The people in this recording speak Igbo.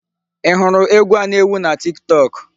Ị hụrụ egwu a na-ewu na Tiktok?